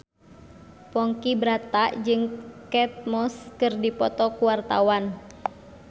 Ponky Brata jeung Kate Moss keur dipoto ku wartawan